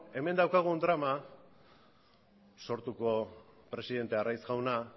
hemen daukagun drama sortuko presidente arraiz jauna